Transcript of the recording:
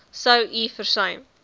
sou u versuim